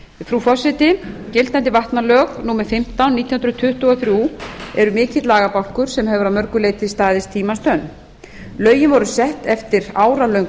frú forseti gildandi vatnalög númer fimmtán nítján hundruð tuttugu og þrjú eru mikill lagabálkur sem hefur að mörgu leyti staðist tímans tönn lögin voru sett eftir áralöng